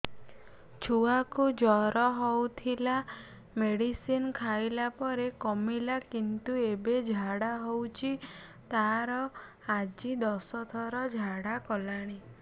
ଛୁଆ କୁ ଜର ହଉଥିଲା ମେଡିସିନ ଖାଇଲା ପରେ କମିଲା କିନ୍ତୁ ଏବେ ଝାଡା ହଉଚି ତାର ଆଜି ଦଶ ଥର ଝାଡା କଲାଣି